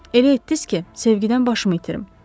Elə etdiz ki, sevgidən başımı itirim.